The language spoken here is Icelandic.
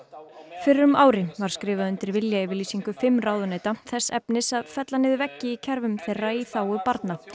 fyrir um ári var skrifað undir viljayfirlýsingu fimm ráðuneyta þess efnis að fella niður veggi í kerfum þeirra í þágu barna